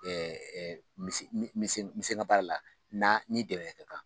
n min se n min se n ka baara la n'a ni dɛmɛ